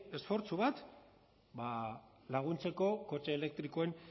esfortzu bat laguntzeko kotxe elektrikoen